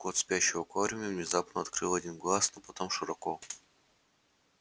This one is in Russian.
кот спящий в аквариуме внезапно открыл один глаз но потом широко